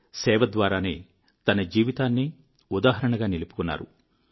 సేవద్వారానే తన జీవితాన్నే ఉదాహరణగా నిలుపుకున్నారు